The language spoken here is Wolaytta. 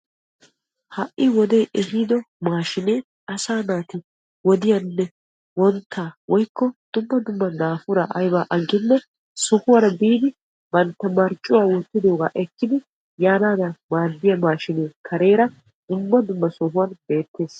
Ha'i wodee ehiido maashinee wodiyaanne wonttaa woykko dumma dumma daapuraa aybaa agginee sohuwaara biidi bantta marccuwaa wottidoogaa ekkidi yaanadan maaddiyaa maashinee kareera dumma dumma sohuwaan beettees.